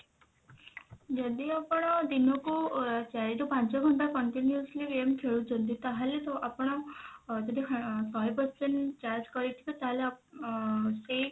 ଯଦି ଆପଣ ଦିନକୁ ଚାରି ରୁ ପାଞ୍ଚ ଘଣ୍ଟା continuously game ଖେଳୁଛନ୍ତି ତାହେଲେ ତ ଆପଣ ଯଦି ଶହେ percent charge କରିଥିବେ ତାହେଲେ ଆ ସେଇ